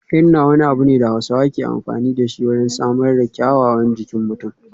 Henna wani abu ne da Hausawa ke amfani da shi wajen samar da kyawawan jikin mutum.